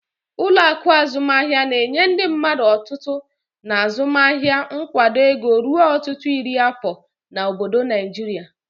Ụlọ akụ azụmaahịa na-enye ndị mmadụ otutu na azụmaahịa nkwado ego ruo ọtụtụ iri afọ na obodo Naijiria.